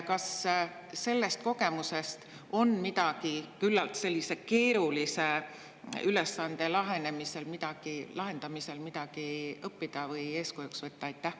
Kas sellest kogemusest on midagi sellise küllalt keerulise ülesande lahendamisel õppida või eeskujuks võtta?